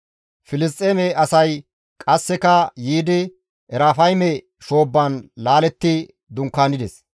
Filisxeeme asay qasseka yiidi Erafayme shoobban laaletti dunkaanides.